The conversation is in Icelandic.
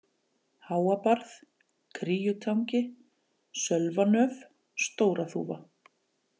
Háabarð, Kríutangi, Sölvanöf, Stóra-Þúfa